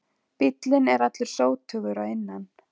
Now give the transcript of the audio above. Bíllinn er allur sótugur að innan